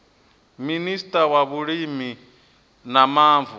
minista wa vhulimi na mavu